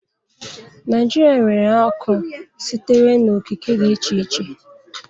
Naijiria nwere akụ sitere n'okike dị iche iche